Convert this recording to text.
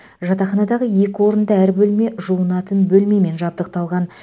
жатақханадағы екі орынды әр бөлме жуынатын бөлмемен жабдықталған